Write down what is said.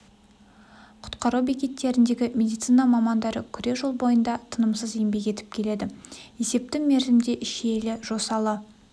құтқару бекеттеріндегі медицина мамандары күре жол бойында тынымсыз еңбек етіп келеді есепті мерзімде шиелі жосалы